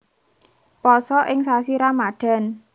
Pasa ing sasi Ramadhan